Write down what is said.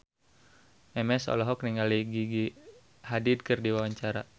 Memes olohok ningali Gigi Hadid keur diwawancara